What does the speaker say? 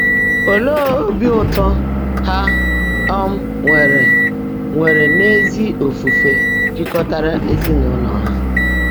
Leè óbí ụ́tọ́ há um nwèrè nwèrè ná ézí ófùfé jị́kọ́táárá ézinụ́lọ́ há!